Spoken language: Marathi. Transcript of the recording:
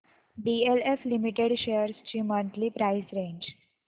डीएलएफ लिमिटेड शेअर्स ची मंथली प्राइस रेंज